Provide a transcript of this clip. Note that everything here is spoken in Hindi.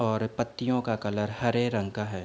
और पत्तियों का कलर हरे रंग का है।